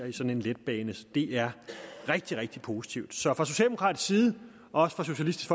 i sådan en letbane det er rigtig rigtig positivt så fra socialdemokratisk side og også fra socialistisk